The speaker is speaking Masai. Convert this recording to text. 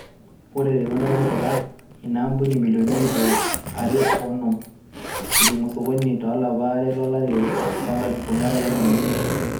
Ore te Rwanda, netipika ina aampuni milioni ip are o onom ejing osokoni to lapa le are lo lari loo nkalifuni are o tomon o imiet.